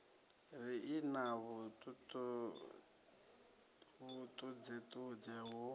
ri i na vhuṱudzeṱudze hu